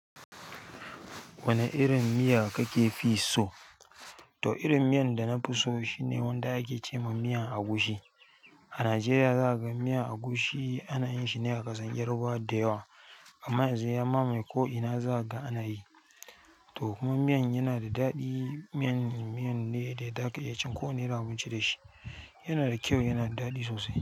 Wane irin miya kake fi so? To irin miyan da na fi so shine wanda ake ce ma miyan agushi. A Najeriya zaka ga miyan agushi ana yin shi ne a ƙasar Yarbawa da yawa. Amma yanzu ya mamaye ko ina za kaga anayi. To kuma miyan yana da daɗi, miyan, miyan ne da za ka iya cin ko wane irin abinci da shi. Yana da kyau, yana da daɗi sosai.